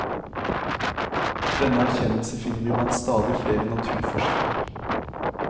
Denne erkjennelse finner vi blant stadig flere naturforskere.